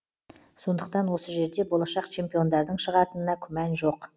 сондықтан осы жерде болашақ чемпиондардың шығатынына күмән жоқ